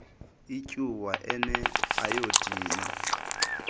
ityuwa ene ayodini